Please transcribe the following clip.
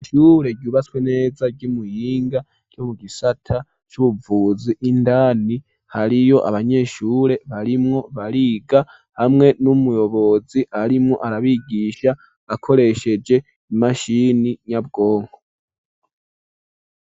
Ishure ryubatswe neza ryi Muhinga ryo mu gisata c'ubuvuzi indani hariyo abanyeshure barimwo bariga hamwe n'umuyobozi arimwo arabigisha akoresheje imashini nyabwonko.